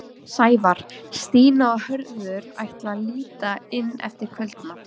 Sævar, Stína og Hörður ætla að líta inn eftir kvöldmat.